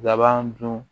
Laban dun